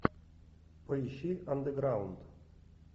поищи андеграунд